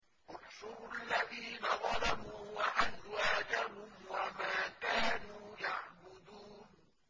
۞ احْشُرُوا الَّذِينَ ظَلَمُوا وَأَزْوَاجَهُمْ وَمَا كَانُوا يَعْبُدُونَ